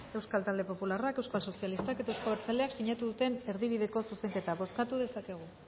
euskal talde popularrak euskal sozialistak eta euzko abertzaleak sinatu duten erdibideko zuzenketa bozkatu dezakegu